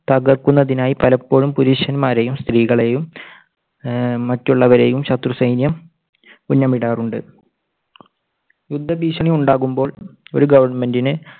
തകർക്കുന്നതിനായി പലപ്പോഴും പുരുഷന്മാരെയും സ്ത്രീകളെയും ഏർ മറ്റുള്ളവരെയും ശത്രുസൈന്യം ഉന്നം ഇടാറുണ്ട്. യുദ്ധ ഭീഷണി ഉണ്ടാകുമ്പോൾ ഒരു ഗവൺമെൻറിന്